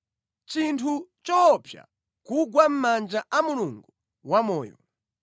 Nʼchinthu choopsa kugwa mʼmanja a Mulungu wamoyo.